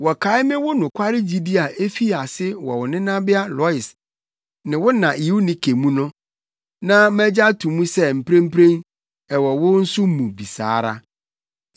Wɔkae me wo nokware gyidi a efii ase wɔ wo nenabea Lois ne wo na Eunike mu no, na magye ato mu sɛ mprempren ɛwɔ wo nso mu bi saa ara.